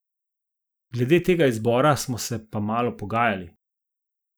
Glede tega izbora smo se pa malo pogajali.